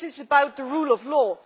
it is about the rule of law.